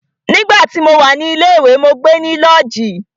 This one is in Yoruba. Nígbà tí mo wà ní ilé ìwé, mó gbe ní lọ́ọ̀jí.